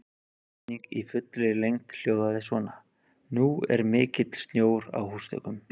Spurningin í fullri lengd hljóðaði svona: Nú er mikill snjór á húsþökum.